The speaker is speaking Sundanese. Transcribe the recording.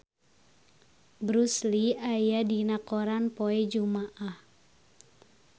Bruce Lee aya dina koran poe Jumaah